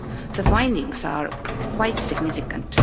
The findings are quite significant.